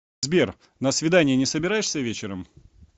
сбер на свидание не собираешься вечером